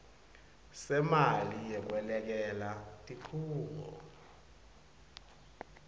semali yekwelekelela tikhungo